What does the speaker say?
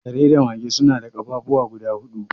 Kare da mage suna da ƙafafuwa guda hudu